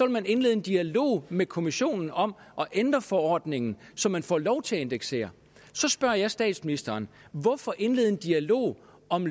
man indlede en dialog med kommissionen om at ændre forordningen så man får lov til at indeksere så spørger jeg statsministeren hvorfor indlede en dialog om